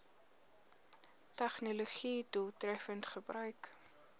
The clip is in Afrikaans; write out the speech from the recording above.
tegnologië doeltreffend gebruik